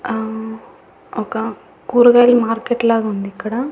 అహ్ ఒక కూరగాయల మార్కెట్ లాగా ఉంది ఇక్కడ.